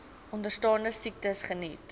onderstaande siektes geniet